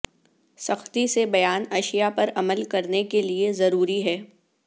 سختی سے بیان اشیاء پر عمل کرنے کے لئے ضروری ہے